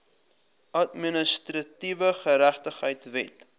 administratiewe geregtigheid wet